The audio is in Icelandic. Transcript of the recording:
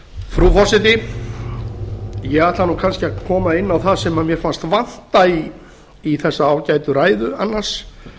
frú forseti ég ætla kannski að koma inn á það sem mér fannst vanta í þessa ágætu ræðu annars